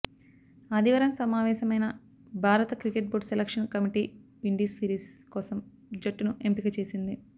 ఆదివారం సమావేశమైన భారత cricket board selection committee Windies series కోసం జట్టును ఎంపిక చేసింది